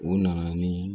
U nana ni